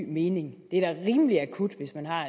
ny mening det er da rimelig akut hvis man har